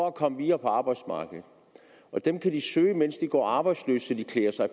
at komme videre på arbejdsmarkedet og dem kan de søge mens de går arbejdsløse så de klæder sig